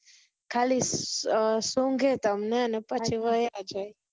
ખાલી અર સૂંઘે તમને અને પછી વયા જાય